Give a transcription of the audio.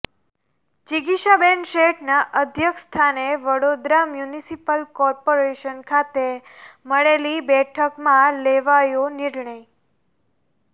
જિગીશાબેન શેઠના અધ્યક્ષ સ્થાને વડોદરા મ્યુનિસિપલ કોર્પોરેશન ખાતે મળેલી બેઠકમાં લેવાયો નિર્ણય